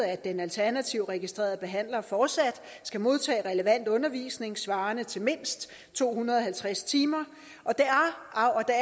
at den alternative registrerede behandler fortsat skal modtage relevant undervisning svarende til mindst to hundrede og halvtreds timer og det